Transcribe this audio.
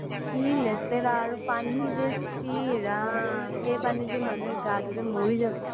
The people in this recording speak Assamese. কি লেতেৰা আৰু পানী যে চিঃ ৰাম সেই পানী দি মানুহে গা ধুলে মৰি যাব